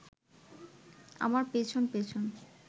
আমার পেছন পেছন